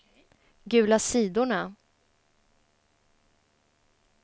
gula sidorna